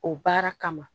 O baara kama